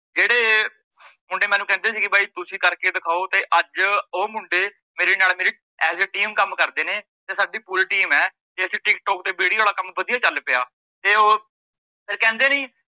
ਮੁੰਡੇ ਮੈਂਨੂੰ ਕਹਿੰਦੇ ਸੀਗੇ ਬਾਈ ਤੁਸੀਂ ਕਰਕੇ ਦਿਖਾਓ ਤੇ ਅੱਜ ਓਹ ਮੁੰਡੇ ਮੇਰੇ ਨਾਲ ਮੇਰੀ as a team ਕੰਮ ਕਰਦੇ ਨੇ ਤੇ ਸਾਡੀ ਪੂਰੀ team ਏ ਤੇ ਅਸੀਂ ਟੀਕਟੋਕ ਤੇ video ਆਲਾ ਕੰਮ ਵਧੀਆ ਚੱਲ ਪਿਆ। ਤੇ ਓਹੋ ਤੇ ਕਹਿੰਦੇ ਨੀਂ,